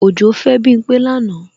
Òjó fẹ́ Bímpé lánàá